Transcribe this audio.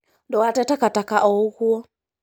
Ndũgate takataka oũguo.